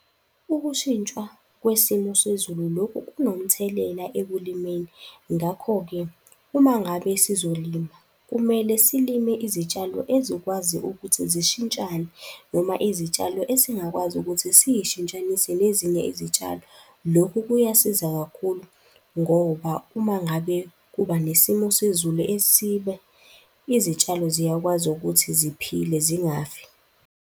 Ukushintshwa kwesimo sezulu lokhu kunomthelela ekulimeni, ngakho-ke uma ngabe sizolima, kumele silime izitshalo ezikwazi ukuthi zishintshane noma izitshalo esingakwazi ukuthi siyishintshanise nezinye izitshalo. Lokhu kuyasiza kakhulu ngoba uma ngabe kuba nesimo sezulu , izitshalo ziyakwazi ukuthi ziphile zingafi.